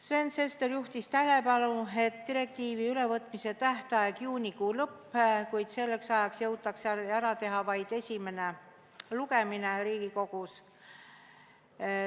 Sven Sester juhtis tähelepanu, et direktiivi ülevõtmise tähtaeg on juunikuu lõpp, kuid selleks ajaks jõutakse ära teha vaid esimene lugemine Riigikogus.